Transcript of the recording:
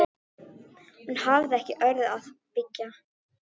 Hann er miklu veikari en þig órar fyrir.